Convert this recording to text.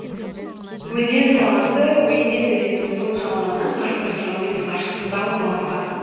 өзен сағасы уймень өзенінің сол жағалауынан қырық бір километр қашықтықта орналасқан